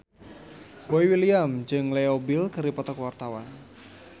Boy William jeung Leo Bill keur dipoto ku wartawan